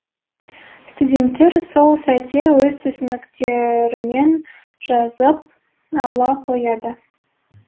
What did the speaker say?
студенттер сол сәтте өз түсініктерімен жазып ала қояды